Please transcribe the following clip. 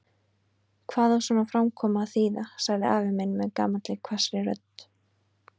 Hvað á svona framkoma að þýða? sagði afi minn með gamalli hvassri rödd.